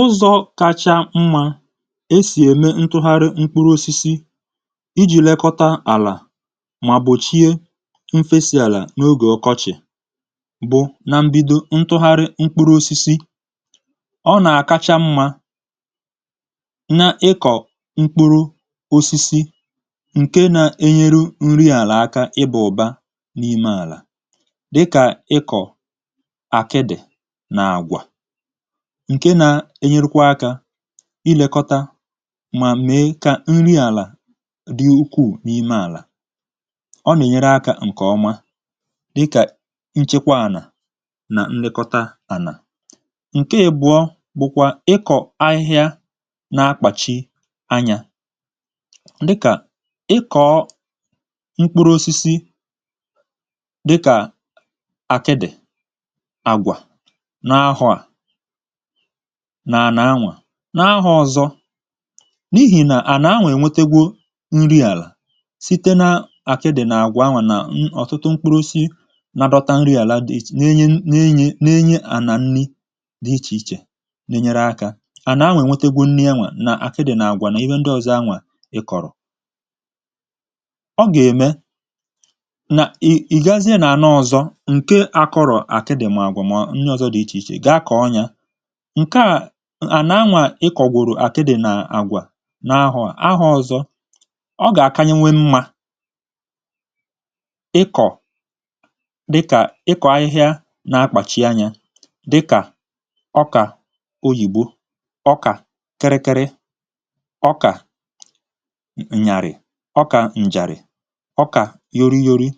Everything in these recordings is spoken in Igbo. Ụzọ̇ kacha mmȧ e sì ème ntụgharị mkpụrụ osisi iji̇ lekọta àlà mà gbòchie mfesì àlà n’ogè ọkọchị̀ bụ̀, na mbido ntụgharị mkpụrụ osisi. Ọ nà-àkacha mmȧ na ịkọ̇ mkpụrụ osisi ǹke nȧ-enyere nri àlà aka ịbà ụ̀ba n’ime àlà dịka akịdị na agwa ǹke nà-enyerekwa akȧ ilėkọta mà mee kà nri àlà dị ukuù n’ime àlà. Ọ nà-ènyere akȧ ǹkè ọma dịkà nchekwa ànà nà nlekọta ànà. Nke ị̀bụ̀ọ bụ̀kwà ịkọ̀ ahịhịa na-akpàchi anyȧ dịkà ịkọ̀ọ mkpụrụ osisi dịkà àkịdị, àgwà nà ahụa nànà anwà. N’ahụọ̀ ọ̀zọ, n’ihì nà ànà anwà ènwetegwȯ nri àlà site na-àkịdị̀ nà àgwà anwà nà ṅ̀ọ̀tụtụ mkpụrụosisi na-adọ̇tȧ nri àlà ne enye nà enye nà enye ànà nni dị̀ ichè ichè na-enyere akȧ ànà anwà ènwetegwȯ nri enwė nà àkịdị nà àgwà nà ihe ndị ọ̀zọ anwà ị kọ̀rọ. Ọ gà ème nà ì ị̀gazịa nà ànà ọzọ ǹke akọrọ̀ àkịdị̀ ma àgwà mà ndị ọ̀zọ dị̀ ichè ichè ga kọọ nya. Nke à ànà anwà ịkọ̀gworo àkịdị̀ nà àgwà n’ahụ̀à n'ahụ̀ ọ̀zọ, ọ gà-àkanyenwe mmȧ ịkọ̀ dịkà ịkọ̀ ahịhịa na-akpàchi anyȧ dịkà ọkà oyìbo, ọkà kịrịkịrị, ọkà ǹnyàrị̀, ọkà ǹjàrị̀, ọkà yoroyori.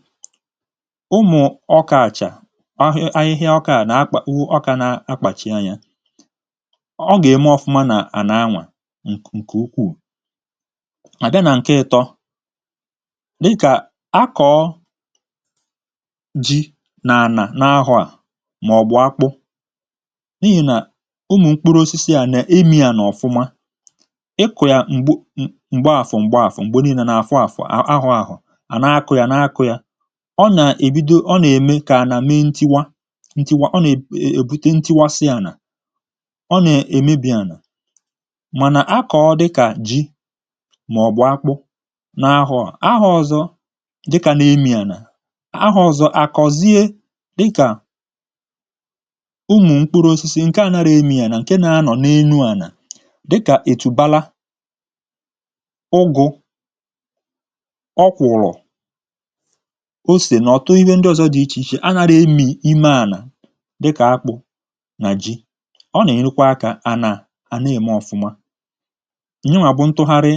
Ụmụ̀ ọkà à chà ọ ahị ahịhịa ọka na-akpa ọka na-akpachi anya, ọ gà-ème ọ̀fụma nà ànàanwà ǹkè ukuù. A bịa nà ǹke ịtọ dịkà a kọ̀o ji nà ànà n’ahụ̇ à màọ̀bụ̀ akpụ n’ihì nà ụmụ̀ mkpụrụ osisi à nà-ememi anà ọ̀fụma, ịkụ̇ ya m̀gbe àfọ m̀gbe àfụọ m̀gbe nii̇ne n’afọ afọ ahụa ahụa ànà akụ̇ ya nà akọ ya, ọ nà-èbido ọ nà-ème kà ànà mee ntiwa ntiwa, ọ nà-ebute ntuwasị ana, ọ na-èmebì ànà. Mànà akọ̀ọ dịkà ji màọ̀bụ̀ akpụ n’ahụà, ahụọ̇ ọ̀zọ dịkà na-emi ànà, ahụọ̀ ọ̀zọ, àkọ̀zie dịkà ụmụ̀ mkpụrụ̇ osisi nke à nara emi ana ǹke na-anọ̀ n’enu ànà dịkà ètùbala, ụgụ̇, ọkwụ̀rụ̀, osè nà ọ̀tụ ihe ndị ọ̀zọ dị ichè ichè anàrà emì ime ànà dịkà akpụ nà ji. Ọ na-ènyerekwa akȧ à nà à na-èmè ọfụma. Nyanwà bụ ntụgharị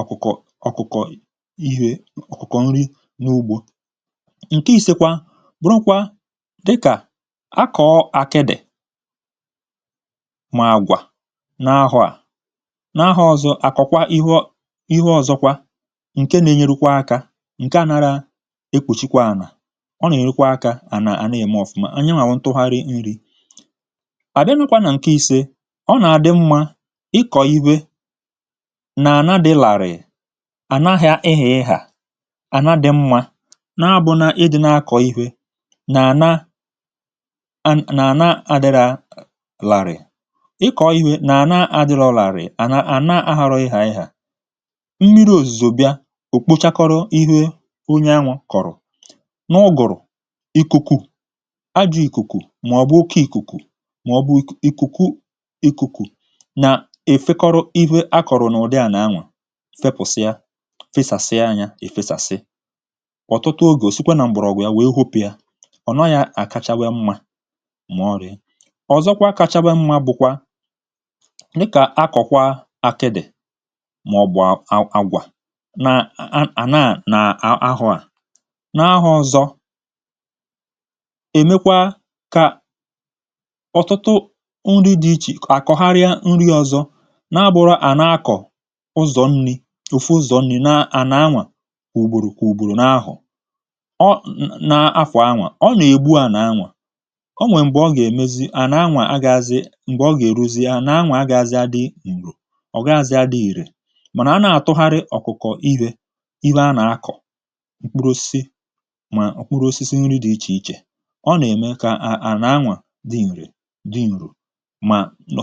ọkụ̀kọ̀ ọkụ̀kọ̀ ihė ọkụ̀kọ̀ nrị n’ugbȯ. Nkè isėkwa bụ̀rụkwa dịkà akọ̀ọ akịdị̀ màgwà n’ahụ̇ à n’ahụ̇ọzọ à kọ̀kwaa ihe ọ ihe ọzọkwa ǹke na-enyerukwa akȧ ǹke anara ekpuchikwa ànà, ọ nà ènyerụkwa akȧ ànà à na-ème ọ̀fụma, nyanwà bụ ntụgharị nrị̇. Abịarukwa na nke ise, ọ nà-àdị mmȧ ịkọ̀ ivwe nà-ànà dị̀ làrị̀ị nana dị ịghà ịgha, àna dị̀ mmȧ na abụ na ịdị na-akọ̀ ivwė nà-ànà à nà-ànà adịrà làrị̀. Ị kọ̀ọ ivwe nà-ànà adịrọ làrịị̀ nàna àna adịrọ ịghaịgha, mmiri ozuzu bịa, o kpochakọrọ ihe onye anwa kọrọ. N'ụgụrụ, ajọ ikuku maọbụ oke ikuku ikuku na ikuku efekọrọ ihė a kọrọ n’ụdị anà anwà fepụ̀sịa fesàsịa nyȧ efesàsị, ọ̀tụtụ ogè osikwa nà mgbọ̀rọ̀gwụ̀ ya wèe hopụ ya, ọ̀ naghị̇ àkachawe mmȧ mà ọ̀rị̀. Ọzọkwa kachawe mmȧ bụ̀kwa dị kà akọ̀kwa akịdị̀ mà ọ̀ bụ àgwà nà ànàà nà ahụ̀ à, n’ahụ̀ọ ọ̀zọ, è mekwa kà ọtụtụ nri dị̇ ichè kà àkọ̀gharịa nri ọzọ na-abụrọ à na-akọ̀ ụzọ̀ nni̇ ofu ụzọ̀ nni̇ na àna anwà kwà ùgbòrò kwà ùgbòrò na-ahụ̀ọ na-afà anwà. Ọ nà-ègbu àna-anwà, o nwè m̀gbè ọ gà-èmezi àna anwà agàazị m̀gbè ọ gà-èruzi ana anwà agàazị adị ire ọgàazị adị ìrè. Màna a na-àtụgharị ọ̀kụ̀kọ̀ ivwė ivwe a nà-akọ̀, mkpụrụ osisi mà mkpụrụ osisi nri dị̇ ichè ichè, ọ nà-ème kà à àna anwà dị nrè dị nro, mà nọ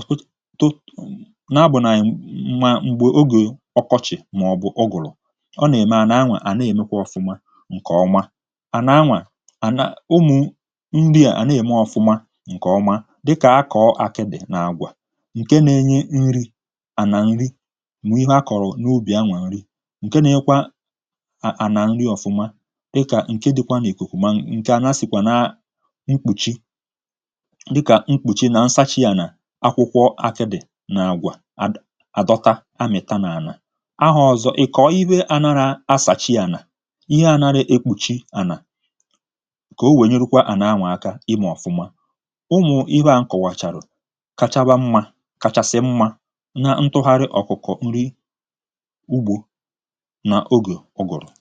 um na agbụ̇nàghị̀ m̀gba m̀gbè ogè ọkọchị̀ mà ọ̀ bụ̀ ụgụ̀rụ̀, ọ nà-ème àna anwa a nà nwa à na-èmekwa ọ̀fụma ǹkè ọma. Ana anwà na ụmụ̀ nri à à na-ème ọ̀fụma ǹkè ọma dịkà akọ̀ akịdị̀ na agwà ǹke na-enye nri̇ ànà nri mà ivwe a kọ̀rọ̀ n’ubì anwà nri ǹke na-enyekwa ànà nri ọfụma dịkà ǹke dịkwa nà-ikukùmà ha si sikwa na mkpùchi dịka mkpuchi na nsachi ana akwụkwọ akịdị̀ na agwà ad adọta amị̀ta n’ànà. Ahọ̀zọ, ị̀ kọọ̀ ivwe ànàrà asàchii ànà, ihe ànàrọ ekpùchi ànà ka o wèe nyerukwa ànà anwà aka ịmọ ọ̀fụma. Ụmụ̀ ivwe a m kọ̀wàchàrụ kachaba mmȧ kachasị mmȧ na ntụgharị ọkụ̀kọ nri ugbȯ nà ogè ụgụ̀rụ̀.